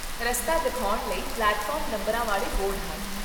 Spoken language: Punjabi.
ਰਸਤਾ ਦਿਖਾਉਣ ਲਈ ਪਲੇਟਫਾਰਮ ਨੰਬਰਾਂ ਵਾਲੇ ਬੋਰਡ ਹਨ